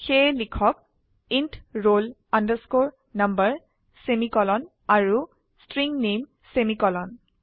সেয়ে লিখক int roll number semicolon আৰু ষ্ট্ৰিং নামে সেমিকোলন